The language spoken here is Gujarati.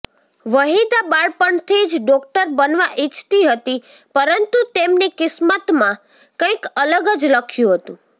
વહિદા બાળપણથી જ ડોક્ટર બનવા ઇચ્છતી હતી પરંતુ તેમની કિસ્તમમાં કંઇક અલગ જ લખ્યુ હતું